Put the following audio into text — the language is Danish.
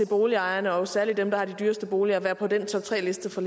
boligejerne og særlig dem der har de dyreste boliger være på den toptreliste fra